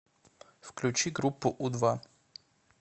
включи группу у два